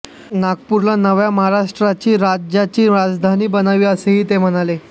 नागपूरला नव्या महाराष्ट्र राज्याची राजधानी बनवावी असेही ते म्हणाले